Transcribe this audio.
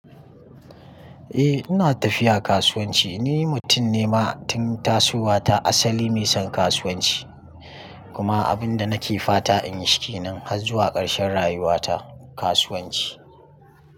Eh ina tafiya kasuwanci. Ni mutum ne ma tun tasowa ta asali mai son kasuwanci kuma abin da nake fata in yi shi kenan har zuwa karshen rayuwa ta kasuwanci.